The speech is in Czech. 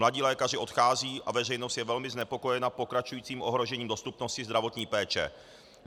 Mladí lékaři odcházejí a veřejnost je velmi znepokojena pokračujícím ohrožením dostupnosti zdravotní péče.